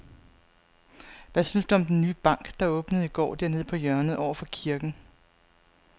Hvad synes du om den nye bank, der åbnede i går dernede på hjørnet over for kirken?